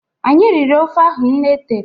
Anyị riri ofe ahụ nne tere